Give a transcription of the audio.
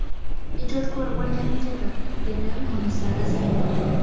Ijodkor bo‘lganimgadir”, dedi Munisa Rizayeva.